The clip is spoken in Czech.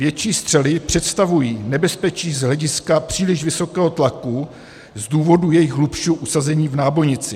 Větší střely představují nebezpečí z hlediska příliš vysokého tlaku z důvodu jejího hlubšího usazení v nábojnici.